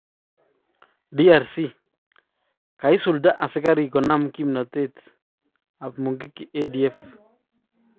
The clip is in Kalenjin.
DRC: kaisulda asigariik konam kimnatet mongiki ADF